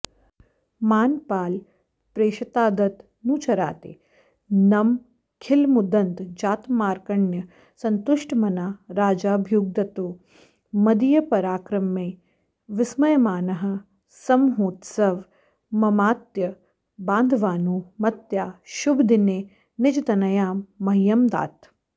मानपालप्रेषितात्तदनुचरादेनमखिलमुदन्तजातमाकर्ण्य सन्तुष्टमना राजाभ्युद्गतो मदीयपराक्रमे विस्मयमानः समहोत्सवममात्यबान्धवानुमत्या शुभदिने निजतनयां मह्यमदात्